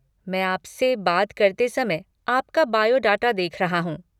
मैं आपसे बात करते समय आपका बायोडाटा देख रहा हूँ।